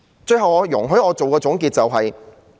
最後，容許我作總結。